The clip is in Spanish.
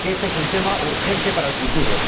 Creo que éste es un tema urgente para el futuro.